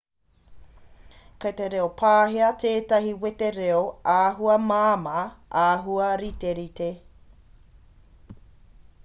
kei te reo pāhia tētahi wete reo āhua māmā āhua riterite